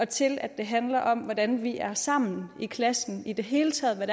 til at det handler om hvordan de er sammen i klassen og i det hele taget hvad